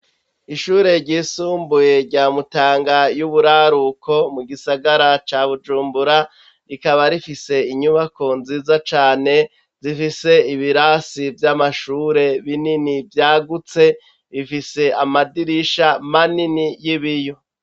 Ishure ry'isumbuye rya mutanga y'uburaruko mugisagara ca bujumbura rikaba rifise inyubakwa nziza cane zifise ibirasi vy'amashure binini vyagutse bifise amadirisha manini y'ibiyo.